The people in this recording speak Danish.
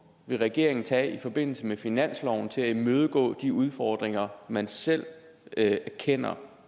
vil regeringen tage i forbindelse med finansloven til at imødegå de udfordringer man selv erkender